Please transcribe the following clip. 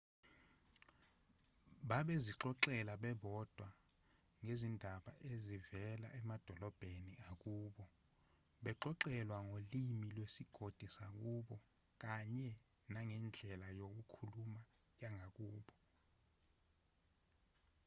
bebezixoxela bebodwa ngezindaba ezivela emadolobheni akubo baxoxelwa ngolimi lwesigodi sakubo kanye nangendlela yokukhuluma yangakubo